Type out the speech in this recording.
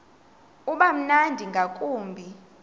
uba mnandi ngakumbi